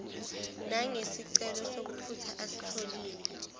nangesicelo sokuphutha asitholile